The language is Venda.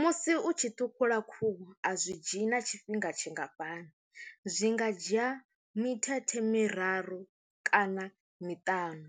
Musi u tshi ṱhukhula khuhu a zwi dzhii na tshifhinga tshingafhani zwi nga dzhia mithethe miraru kana miṱanu,